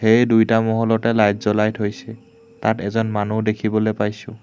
এই দুইটা মহলতে লাইট জ্বলাই থৈছে তাত এজন মানু্হ দেখিবলে পাইছোঁ।